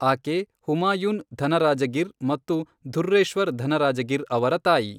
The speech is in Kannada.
ಆಕೆ ಹುಮಾಯೂನ್ ಧನರಾಜಗಿರ್ ಮತ್ತು ಧುರ್ರೇಶ್ವರ್ ಧನರಾಜಗಿರ್ ಅವರ ತಾಯಿ.